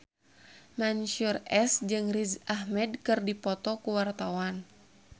Mansyur S jeung Riz Ahmed keur dipoto ku wartawan